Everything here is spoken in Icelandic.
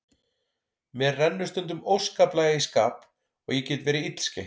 Mér rennur stundum óskaplega í skap og ég get verið illskeytt.